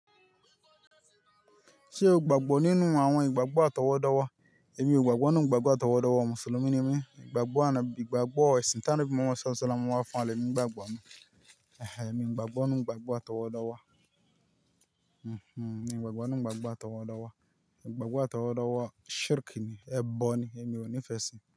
Ṣé o gbàgbọ́ nínú àwọn ìgbàgbọ́ àtọwọ́dá? Èmi ò gbàgbọ́ nínú ìgbàgbọ́ àtọwọ́dá. Mùsùlùmí ni mí. Ìgbàgbọ́ ànobi ìgbàgbọ́ ẹ̀sìn tá anobi muha Mo wá fún àlè mi, ìgbàgbọ́ mi. Ehe, èmi ò gbàgbọ́ nínú ìgbàgbọ́ àtọwọ́dowo. Èmi ò gbàgbọ́ nínú ìgbàgbọ́ àtọwọ́dowo. Ìgbàgbọ́ àtọwọ́dowo shirk ni, ẹbọ ni, èmi ò nífẹ̀ẹ́ sí i.